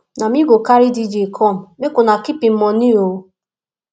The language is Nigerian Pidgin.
na me go carry dj come make una keep im moni o